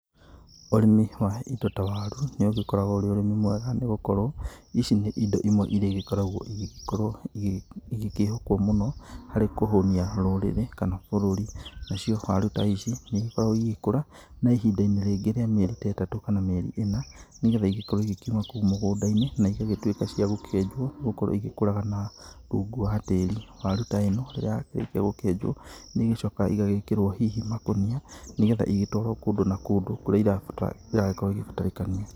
Ũrĩmi wa indo ta waru, nĩũgĩkoragwo ũrĩ ũrĩmi mwega nĩgũkorwo ici nĩ indo imwe iria igĩkoragwo igĩkorwo igĩkĩhokwo mũno harĩ kũhũnia rũrĩrĩ kana bũrũri. Nacio, waru ta ici nĩigĩkoragwo igĩkũra na ihinda rĩngĩ ta rĩa mĩeri ĩtatũ kana mĩeri ĩna, nĩgetha igĩkorwo ikiuma kũu mũgũnda-inĩ na igagĩtuĩka cia gũkĩenjwo, nĩgũkorwo ĩgĩkũraga na, rungu wa tĩri. Waru ta ĩno, rĩrĩa yakĩrĩkia gũkĩenjwo, nĩigĩcokaga igagĩkĩrwo hihi makũnia, nĩgetha igĩtwarwo kũndũ na kũndũ kũrĩa irabatara, iragĩkorwo igĩbatarĩkania.